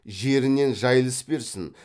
жерінен жайылыс берсін